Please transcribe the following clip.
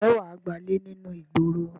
Ǹjẹ́ wà á gbálè ní inú ìgboro?